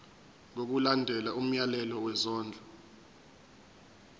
ngokulandela umyalelo wesondlo